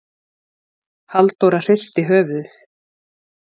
Halldóra hristi höfuðið.